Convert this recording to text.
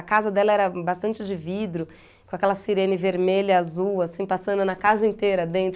A casa dela era bastante de vidro, com aquela sirene vermelha e azul, assim, passando na casa inteira dentro.